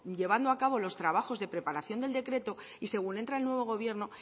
llevando a cabo los trabajos de preparación del decreto y según entra el nuevo gobierno